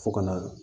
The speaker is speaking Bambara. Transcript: Fo ka na